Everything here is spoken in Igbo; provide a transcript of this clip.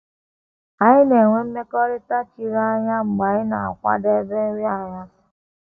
Anyị na - enwe ‘ mmekọrịta chiri anya ’ mgbe anyị na - akwadebe nri anyasị.